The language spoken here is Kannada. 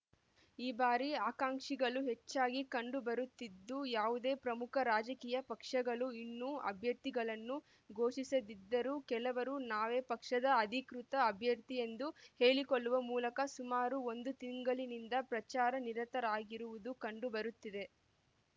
ಈ ಬಾರಿ ಆಕಾಂಕ್ಷಿಗಳು ಹೆಚ್ಚಾಗಿ ಕಂಡು ಬರುತ್ತಿದ್ದು ಯಾವುದೇ ಪ್ರಮುಖ ರಾಜಕೀಯ ಪಕ್ಷಗಳು ಇನ್ನೂ ಅಭ್ಯರ್ಥಿಗಳನ್ನು ಘೋಷಿಸದಿದ್ದರೂ ಕೆಲವರು ನಾವೇ ಪಕ್ಷದ ಅಧಿಕೃತ ಅಭ್ಯರ್ಥಿ ಎಂದು ಹೇಳಿಕೊಳ್ಳುವ ಮೂಲಕ ಸುಮಾರು ಒಂದು ತಿಂಗಳಿನಿಂದ ಪ್ರಚಾರದಲ್ಲಿ ನಿರತರಾಗಿರುವುದು ಕಂಡು ಬರುತ್ತಿದೆ